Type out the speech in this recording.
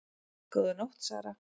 Góða nótt Sara